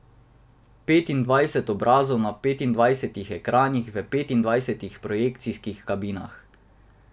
Petindvajset obrazov na petindvajsetih ekranih v petindvajsetih projekcijskih kabinah.